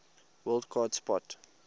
wild card spot